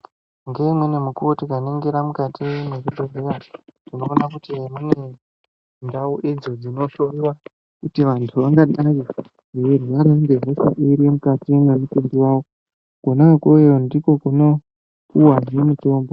Ngeumweni mukuvo tikaningira mukati mwezvibhedhlera tinoona kuti mune ndau idzo dzinohloiwa kuti vantu vangadai veirwara ngehosha iri mukati mwemutumbi vavo. Kona ikweyo ndiko kunopuvahe mitombo.